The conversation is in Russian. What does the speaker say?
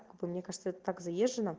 мне кажется это так заезженно